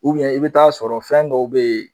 i bi taa sɔrɔ fɛn dɔw be yen